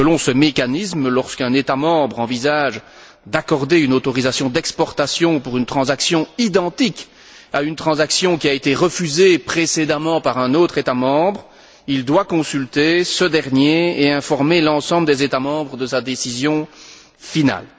Et selon ce mécanisme, lorsqu'un État membre envisage d'accorder une autorisation d'exportation pour une transaction identique à une transaction qui a été refusée précédemment par un autre État membre, il doit consulter ce dernier et informer l'ensemble des États membres de sa décision finale.